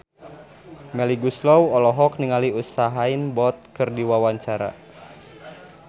Melly Goeslaw olohok ningali Usain Bolt keur diwawancara